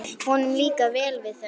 Honum líkar vel við þau.